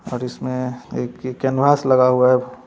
और इसमें एक ये कैनवास लगा हुआ है।